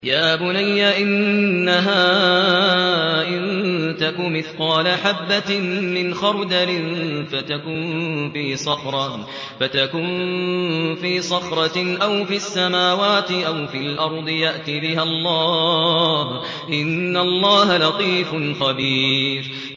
يَا بُنَيَّ إِنَّهَا إِن تَكُ مِثْقَالَ حَبَّةٍ مِّنْ خَرْدَلٍ فَتَكُن فِي صَخْرَةٍ أَوْ فِي السَّمَاوَاتِ أَوْ فِي الْأَرْضِ يَأْتِ بِهَا اللَّهُ ۚ إِنَّ اللَّهَ لَطِيفٌ خَبِيرٌ